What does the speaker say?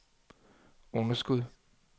underskud